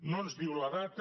no ens diu la data